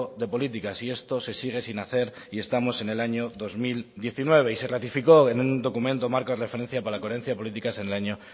de políticas y esto se sigue sin hacer y estamos en el año dos mil diecinueve y se ratificó en un documento marco de referencia para la coherencia de políticas en el año